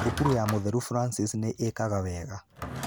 Thukuru ya mũtheru Francis nĩ ĩkaga wega.